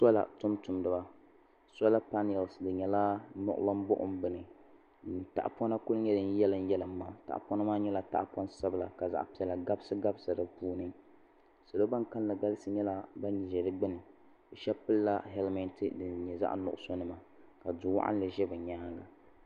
Sɔla tum tumdiba sɔla paniɛls di nyɛla niɣilim buɣim bini din tahapɔna ku nyɛ din yalim yalima tahapɔna maa nyɛla tahapɔŋ sabila ka zaɣa piɛla gabsi gabsi di puuni salo ban kalinli galisi ban ʒɛ di gbuni bi shɛba pili la hɛlmɛɛnti din nyɛ zaɣa nuɣusu nima ka duu waɣinli ʒɛ bi nyaanga.